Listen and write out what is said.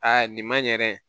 Aa nin man ɲɛ